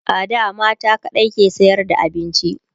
a da mata kaɗai ke sayar da abinci